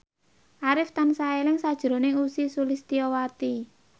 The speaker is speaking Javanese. Arif tansah eling sakjroning Ussy Sulistyawati